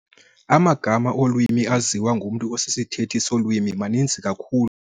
Amagama olwimi aziwa ngumntu osisithethi solwimi maninzi kakhulu.